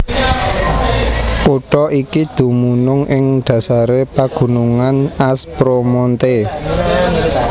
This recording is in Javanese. Kutha iki dumunung ing dhasaré pagunungan Aspromonte